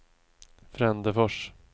Frändefors